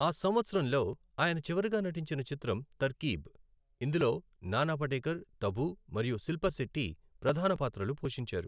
ఆ సంవత్సరంలో ఆయన చివరగా నటించిన చిత్రం 'తర్కీబ్', ఇందులో నానా పటేకర్, తబూ మరియు శిల్పా శెట్టి ప్రధాన పాత్రలు పోషించారు.